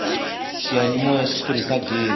xiyanimoya xi tirhisa ghezi